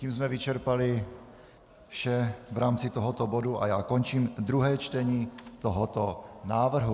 Tím jsme vyčerpali vše v rámci tohoto bodu a já končím druhé čtení tohoto návrhu.